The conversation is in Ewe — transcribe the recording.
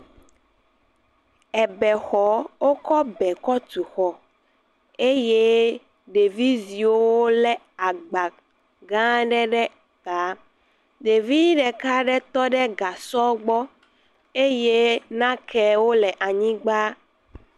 Ebexɔ, wokɔ be kɔ tu xɔ eye ɖevizewo wolé agba gã aɖe ta. Ɖevi ɖeka aɖe tɔ ɖe gasɔ gbɔ eye nakewo le anyigba.